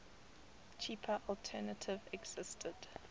cheaper alternative existed